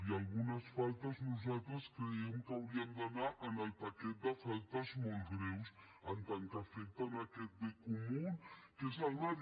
i algunes faltes nosaltres creiem que haurien d’anar en el paquet de faltes molt greus en tant que afecten aquest bé comú que és el mar